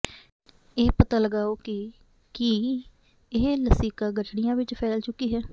ਇਹ ਪਤਾ ਲਗਾਓ ਕਿ ਕੀ ਇਹ ਲਸਿਕਾ ਗਠੜੀਆਂ ਵਿੱਚ ਫੈਲ ਚੁੱਕੀ ਹੈ